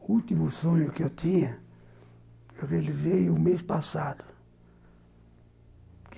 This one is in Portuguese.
O último sonho que eu tinha, ele veio mês passado.